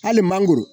Hali mangoro